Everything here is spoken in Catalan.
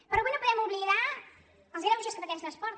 però avui no podem oblidar els greuges que pateix l’esport